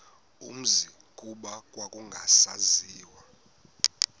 umzi kuba kwakungasaziwa